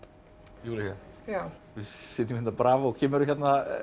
Júlía við sitjum hérna á bravó kemurðu hérna